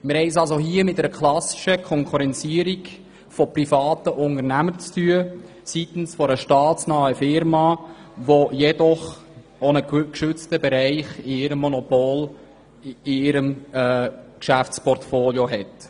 Wir haben es hier also mit einer klassischen Konkurrenzierung von privaten Unternehmen durch eine staatsnahe Firma zu tun, die auch einen geschützten Monopolbereich in ihrem Geschäftsportfolio hat.